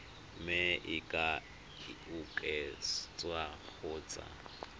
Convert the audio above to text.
mme e ka oketswa kgotsa